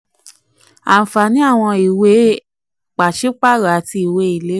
39. ànfààní àwọn ìwé ànfààní àwọn ìwé pàṣípààrọ̀ àti ìwé ìlérí.